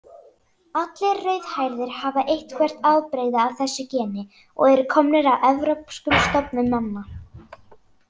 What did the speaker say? Allir rauðhærðir hafa eitthvert afbrigði af þessu geni og eru komnir af evrópskum stofnum manna.